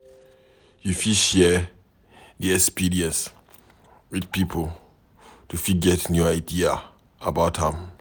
You fit share di experience with pipo to fit get new idea about am